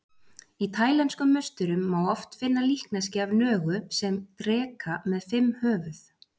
Í taílenskum musterum má oft finna líkneski af nögu sem dreka með fimm höfuð.